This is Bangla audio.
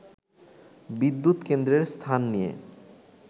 “বিদ্যুৎ কেন্দ্রের স্থান নিয়ে